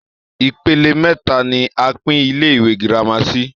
Ipele mẹ́ta ni a pín Ilé-ìwé gírámà àgbà sí